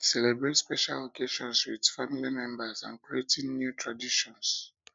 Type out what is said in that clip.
celebrate special occasions with family members and creating new traditions new traditions